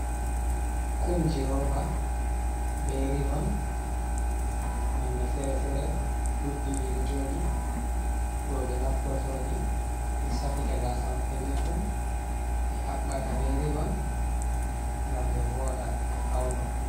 Kumji roba be rivon nonne fere-fere ɗuɗɗi ɗi ɗo joɗi. Roɓe naftortoɗi ɓe safita gasa maɓɓe be kum ɓe haɓɓaka be rivon ngam ɓe voɗa ɓe fauno.